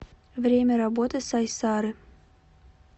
время работы сайсары